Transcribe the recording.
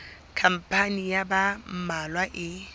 khampani ya ba mmalwa e